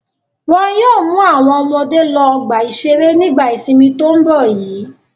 Wọn yóò mú àwọn ọmọdé lọ ọgbà-ìṣeré nígbà ìsìnmi tó ń bọ̀ yìí.